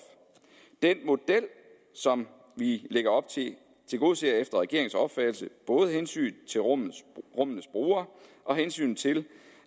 den model som vi lægger op til tilgodeser efter regeringens opfattelse både hensynet til rummenes brugere og hensynet til